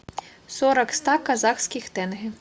сорок ста казахских тенге